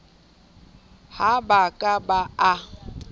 ha ba ka ba a